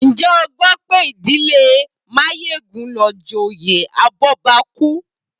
Ǹjẹ́ o gbọ́ pé ìdílé Máyégún ló joyè abọ́bakú?